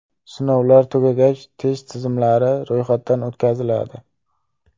Sinovlar tugagach, test tizimlari ro‘yxatdan o‘tkaziladi.